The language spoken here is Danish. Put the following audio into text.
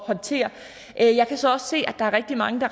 håndtere jeg kan så også se at der er rigtig mange